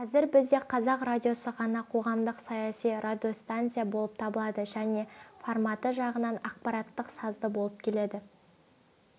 қазір бізде қазақ радиосы ғана қоғамдық-саяси радиостанция болып табылады және форматы жағынан ақпараттық-сазды болып келеді